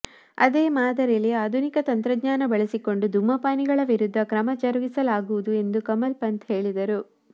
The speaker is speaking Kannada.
ಅದೇ ಮಾದರಿಯಲ್ಲಿ ಆಧುನಿಕ ತಂತ್ರಜ್ಞಾನ ಬಳಸಿಕೊಂಡು ಧೂಮಪಾನಿಗಳ ವಿರುದ್ಧ ಕ್ರಮ ಜರುಗಿಸಲಾಗುವುದು ಎಂದು ಕಮಲ್ ಪಂತ್ ಹೇಳಿದರು